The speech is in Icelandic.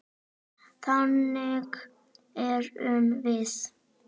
Þannig erum við.